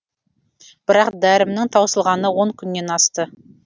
бірақ дәрімнің таусылғанына он күннен асты